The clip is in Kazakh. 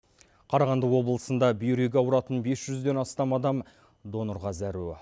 қарағанды облысында бүйрегі ауыратын бес жүзден астам адам донорға зәру